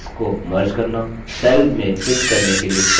cells को merge करना cells में fit करने के लिए text को कम श्रिंक करना